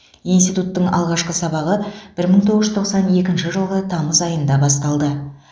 институттың алғашқы сабағы бір мың тоғыз жүз тоқсан екінші жылғы тамыз айында басталды